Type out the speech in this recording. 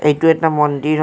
এইটো এটা মন্দিৰ হয়।